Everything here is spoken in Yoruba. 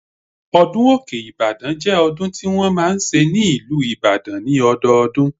Ọdún Òkè Ìbàdàn jẹ́ ọdún tí wọ́n máa ń ṣe ní ìlú Ìbàdàn ní ọdọọdún